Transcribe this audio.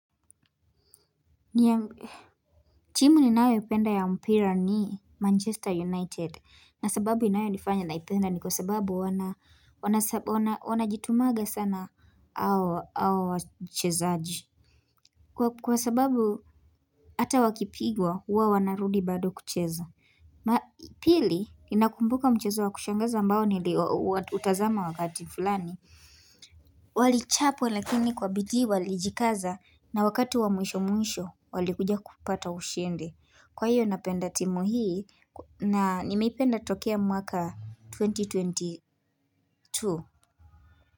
Timu ninayoipenda ya mpira ni Manchester United. Na sababu inayonifanya naipenda ni kwa sababu wanajitumaga sana hawa wachezaji. Kwa sababu hata wakipigwa huwa wanarudi bado kucheza. Pili inakumbuka mchezo wa kushangaza ambao niliutazama wakati fulani. Walichapwa lakini kwa bidii walijikaza na wakati wa mwisho mwisho walikuja kupata ushindi. Kwa hiyo napenda timu hii na nimeipenda tokea mwaka twenty twenty two.